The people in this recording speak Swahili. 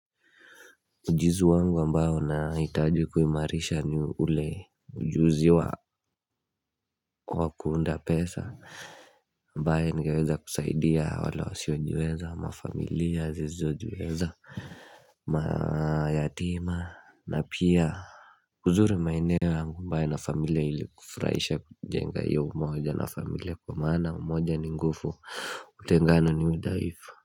Mujizu wangu ambayo na itaju kuimarisha ni ule ujuzi wa kuunda pesa Mbaye nigeweza kusaidia wala wasiojweza mafamilia zizojweza mayatima na pia Kuzuri mainewa angu mbaye na familia ili kufurahisha kujenga ya umoja na familia kwa mana umoja ni ngufu utengano ni mudaifu.